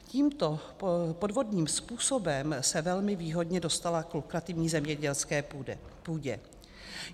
Tímto podvodným způsobem se velmi výhodně dostala k lukrativní zemědělské půdě.